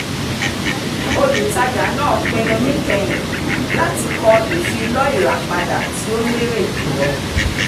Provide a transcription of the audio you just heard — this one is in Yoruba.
olùtajà náà pinnu níkẹyìn láti kọ ìfilọ́ ìràpadà tí ó lérè jù lọ